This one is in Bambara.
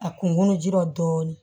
A kunu jira dɔɔni